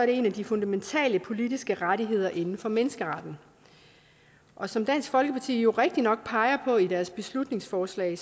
det en af de fundamentale politiske rettigheder inden for menneskeretten og som dansk folkeparti jo rigtigt nok peger på i deres beslutningsforslag